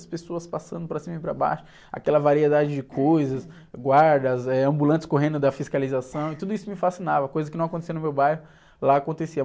As pessoas passando para cima e para baixo, aquela variedade de coisas, guardas, eh, ambulantes correndo da fiscalização, e tudo isso me fascinava, coisa que não acontecia no meu bairro, lá acontecia.